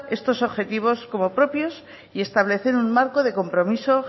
estos objetivos como propios y establecer un marco de compromiso